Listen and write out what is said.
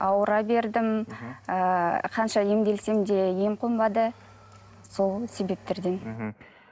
ауыра бердім ыыы қанша емделсем де ем қонбады сол себептерден мхм